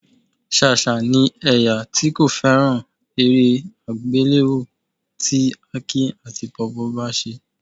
Ṣàṣà ni ẹ̀yà tí kò fẹ́ràn eré àgbéléwò tí Aki àti Pawpaw bá ṣe